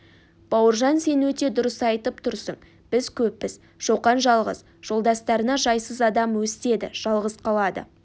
бауыржан сен өте дұрыс айтып тұрсың біз көппіз шоқан жалғыз жолдастарына жайсыз адам өстеді жалғыз қалады